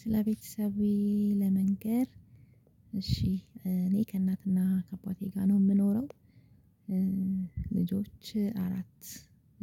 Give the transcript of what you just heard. ስለ ቤተሰቤ ለመንገር እሺ እኔ ከእናትና ከባቴ ጋር ነው የምኖረው። ልጆች አራት